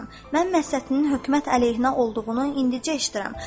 Mən Məhsətinin hökumət əleyhinə olduğunu indicə eşitdim.